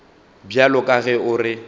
bjalo ka ge o re